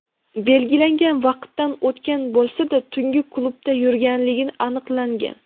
belgilangan vaqtdan o‘tgan bo‘lsa-da tungi klubda yurganligi aniqlangan.